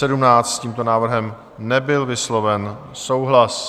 S tímto návrhem nebyl vysloven souhlas.